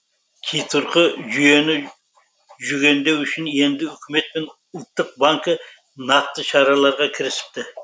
қитұрқы жүйені жүгендеу үшін енді үкімет пен ұлттық банкі нақты шараларға кірісіпті